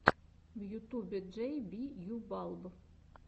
в ютубе джей би ю балб